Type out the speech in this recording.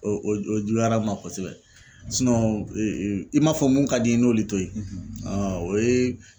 O o j o juguyara ma kosɛbɛ i m'a fɔ mun ka di n'olu to ye o ye